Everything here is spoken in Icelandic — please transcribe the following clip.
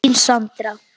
Þín, Sandra.